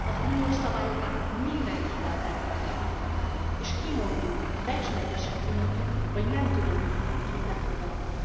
Az uniós szabályokat mindenkivel betartatjuk és kimondjuk, becsületesen kimondjuk, hogy nem tudunk mindenkit befogadni.